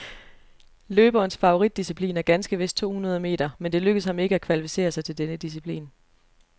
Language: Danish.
Løberens favoritdisciplin er ganske vist to hundrede meter, men det lykkedes ham ikke at kvalificere sig til denne disciplin.